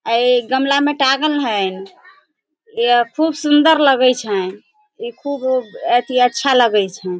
ए गमला में टांगल हइन। ए खूब सुन्दर लगई छैन ई खूब उब अच्छा लगई छैन।